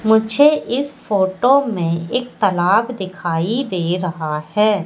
मुझे इस फोटो में एक तालाब दिखाई दे रहा है।